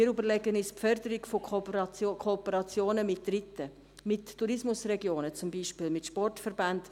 Wir überlegen uns die Förderung von Kooperationen mit Dritten, mit Tourismusregionen zum Beispiel, mit Sportverbänden.